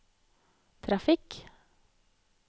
trafikk